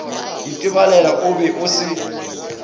itebalebela o be o se